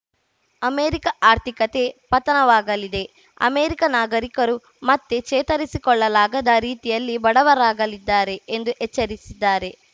America ಆರ್ಥಿಕತೆ ಪತನವಾಗಲಿದೆ America ನಾಗರಿಕರು ಮತ್ತೆ ಚೇತರಿಸಿಕೊಳ್ಳಲಾಗದ ರೀತಿಯಲ್ಲಿ ಬಡವರಾಗಲಿದ್ದಾರೆ ಎಂದು ಎಚ್ಚರಿಸಿದ್ದಾರೆ